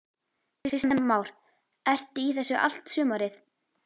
Kristján Már: Ertu í þessu allt sumarið?